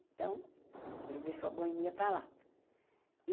Então, ele deixou a boemia para lá.